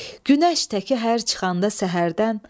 Günəş təki hər çıxanda səhərdən.